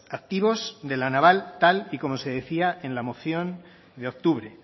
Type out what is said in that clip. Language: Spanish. activos de la naval tal y como se decía en la moción de octubre